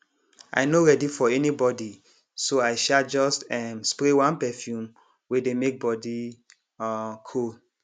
i no ready for anybody so i um just um spray one perfume wey dey make body um cool